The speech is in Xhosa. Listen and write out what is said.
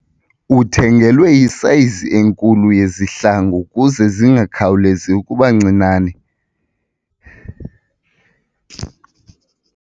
Uthengelwe isayizi enkulu yezihlangu ukuze zingakhawulezi ukuba ncinane.